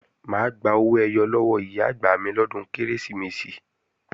Mà á gba owó ẹyọ lọ́wọ́ Ìyá-àgbà mi lọ́dún Kérésìmesì